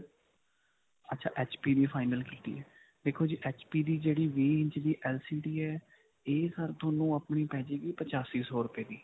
ਅੱਛਾ HP ਦੀ final ਕੀਤੀ ਹੈ. ਦੇਖੋ ਜੀ HP ਦੀ ਜਿਹੜੀ ਵੀਹ ਇੰਚ ਦੀ LCD ਹੈ ਇਹ sir ਤੁਹਾਨੂੰ ਆਪਣੀ ਪੈ ਜਾਏਗੀ ਪਚਾਸੀ ਸੋ ਰੁਪਏ ਦੀ.